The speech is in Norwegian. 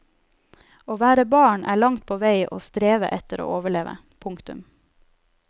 Å være barn er langt på vei å streve etter å overleve. punktum